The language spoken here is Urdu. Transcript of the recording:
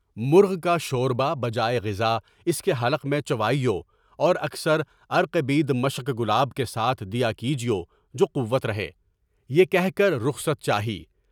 مرغ کا شوربا بجائے غذا اس کے حلق میں چوائیوں اور اکثر عرقِ بیض مثل گلاب کے ساتھ دیا کیجیے جو قوت رہے۔ یہ کہ رخصت چاہیے۔